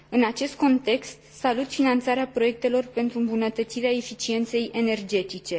În acest context, salut finanțarea proiectelor pentru îmbunătățirea eficienței energetice.